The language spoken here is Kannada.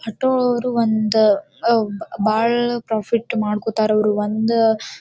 ಆಟೋ ಅವ್ರು ಒಂದು ಆಹ್ಹ್ ಬಹಳ ಪ್ರಾಫಿಟ್ ಮಾಡ್ಕೊತಾರ್ ಅವ್ರು ಒಂದ್--